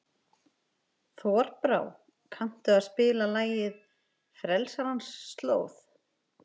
Þorbrá, kanntu að spila lagið „Frelsarans slóð“?